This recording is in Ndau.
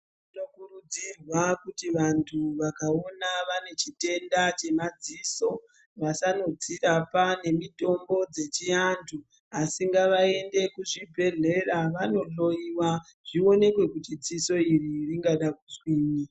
Zvinokurudzirwa kuti vantu vakaona vane chitenda chemadziso vasandodzirapa ngemitombo dzechiantu asi ngavaende kuchibhedhlera vanohloyiwa zvioneke kuti dziso iri ringada kuzwinyi.